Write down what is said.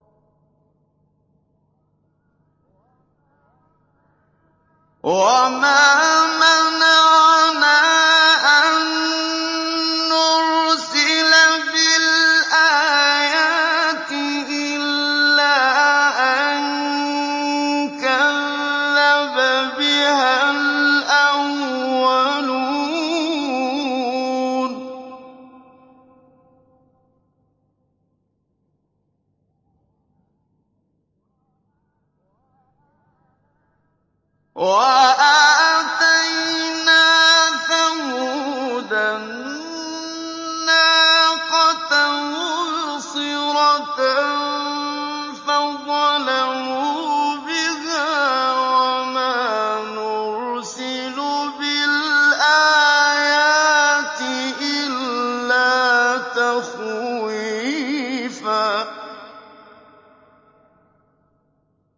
وَمَا مَنَعَنَا أَن نُّرْسِلَ بِالْآيَاتِ إِلَّا أَن كَذَّبَ بِهَا الْأَوَّلُونَ ۚ وَآتَيْنَا ثَمُودَ النَّاقَةَ مُبْصِرَةً فَظَلَمُوا بِهَا ۚ وَمَا نُرْسِلُ بِالْآيَاتِ إِلَّا تَخْوِيفًا